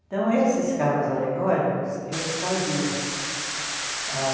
Então, esses carros alegóricos, eu que fazia. Ah